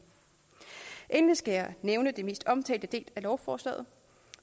endelig skal jeg nævne den mest omtalte del af lovforslaget